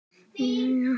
Er ekki að trúa þessu.